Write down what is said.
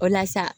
O la sa